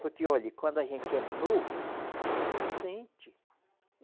Porque olhe, quando a gente é novo, a gente não sente.